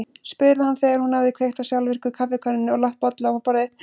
spurði hann þegar hún hafði kveikt á sjálfvirku kaffikönnunni og lagt bolla á borðið.